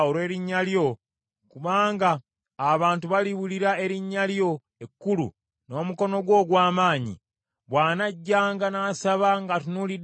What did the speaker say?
kubanga abantu baliwulira erinnya lyo ekkulu n’omukono gwo ogw’amaanyi, bw’anajjanga n’asaba ng’atunuulidde yeekaalu eno;